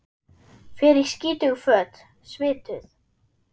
Fer í skítug föt, svituð.